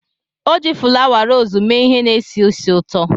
O ji fulawa rosii mee ihe na-esi ísì ụtọ.